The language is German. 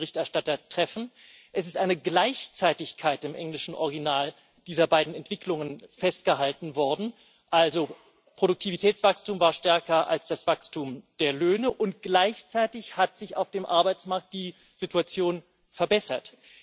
Im englischen Original ist eine Gleichzeitigkeit dieser beiden Entwicklungen festgehalten worden, also das Produktivitätswachstum war stärker als das Wachstum der Löhne, und gleichzeitig hat sich auf dem Arbeitsmarkt die Situation verbessert.